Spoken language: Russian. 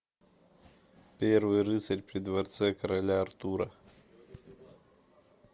первый рыцарь при дворце короля артура